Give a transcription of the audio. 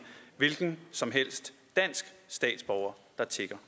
hvilken som helst dansk statsborger der tigger